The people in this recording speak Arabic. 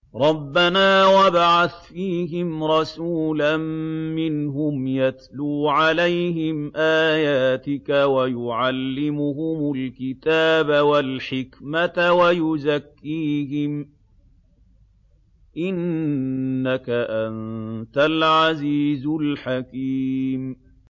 رَبَّنَا وَابْعَثْ فِيهِمْ رَسُولًا مِّنْهُمْ يَتْلُو عَلَيْهِمْ آيَاتِكَ وَيُعَلِّمُهُمُ الْكِتَابَ وَالْحِكْمَةَ وَيُزَكِّيهِمْ ۚ إِنَّكَ أَنتَ الْعَزِيزُ الْحَكِيمُ